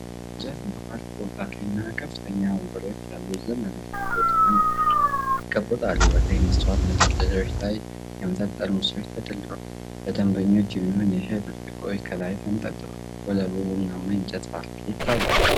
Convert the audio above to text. የእንጨት ባር ቆጣሪ እና ከፍተኛ ወንበሮች ያሉት ዘመናዊ ቦታ ነው። ከቆጣሪው በላይ የመስታወት መደርደሪያዎች ላይ የመጠጥ ጠርሙሶች ተደርድረዋል። ለደንበኞች የሚሆኑ የሻይ ብርጭቆዎች ከላይ ተንጠልጥለዋል። ወለሉ ቡናማ የእንጨት ፓርኬት ነው።